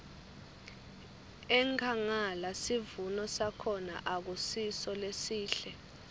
enkhangala sivuno sakhona akusiso lesihle